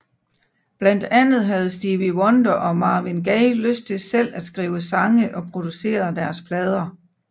Blandt andet havde Stevie Wonder og Marvin Gaye lyst til selv at skrive sange og producere deres plader